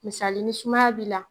Misali ni sumaya b'i la